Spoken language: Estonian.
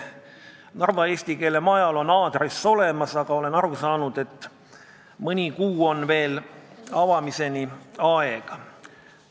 Narva eesti keele majal on aadress olemas, aga olen aru saanud, et mõni kuu on veel avamiseni aega.